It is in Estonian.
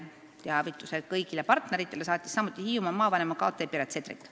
Teavituse kõigile partneritele saatis samuti Hiiumaa maavanema kt Piret Sedrik.